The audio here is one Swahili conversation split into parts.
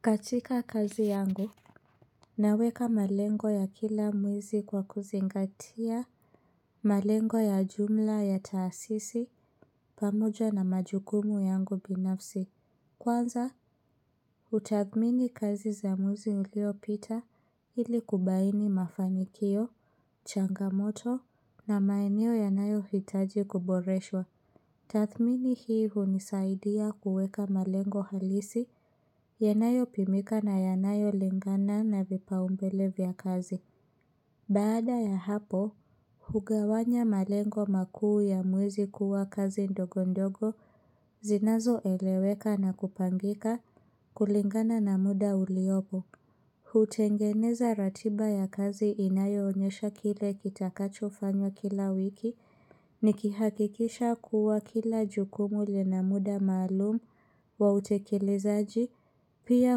Katika kazi yangu, naweka malengo ya kila mwezi kwa kuzingatia malengo ya jumla ya taasisi pamoja na majukumu yangu binafsi. Kwanza, hutathmini kazi za mwezi uliopita ili kubaini mafanikio, changamoto na maeneo yanayohitaji kuboreshwa. Tathmini hii hunisaidia kuweka malengo halisi, yanayopimika na yanayo lingana na vipaumbele vya kazi. Baada ya hapo, hugawanya malengo makuu ya mwezi kuwa kazi ndogo ndogo, zinazoeleweka na kupangika kulingana na muda uliopo. Hutengeneza ratiba ya kazi inayoonyesha kile kitakachofanywa kila wiki nikihakikisha kuwa kila jukumu lina muda maalumu wa utekelezaji, pia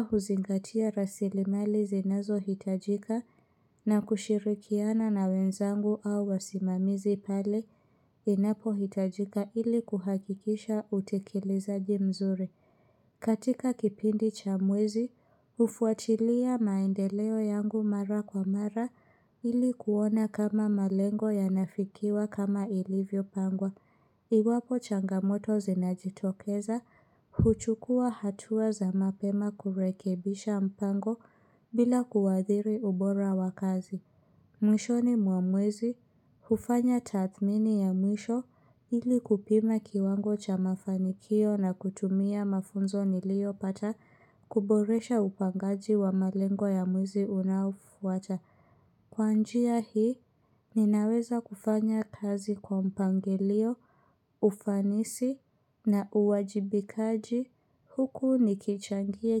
huzingatia rasilimali zinazohitajika na kushirikiana na wenzangu au wasimamizi pale inapohitajika ili kuhakikisha utekelezaji mzuri. Katika kipindi cha mwezi, hufuatilia maendeleo yangu mara kwa mara ili kuona kama malengo yanafikiwa kama ilivyopangwa. Iwapo changamoto zinajitokeza, huchukua hatua za mapema kurekebisha mpango bila kuadhiri ubora wa kazi. Mwishoni wa mwezi hufanya tathmini ya mwisho ili kupima kiwango cha mafa niliyopata kuboresha upangaji wa malengo ya mwezi unaofuata. Kwa njia hii, ninaweza kufanya kazi kwa mpangilio, ufanisi na uwajibikaji. Huku nikichangia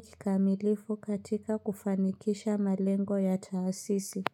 kikamilifu katika kufanikisha malengo ya taasisi.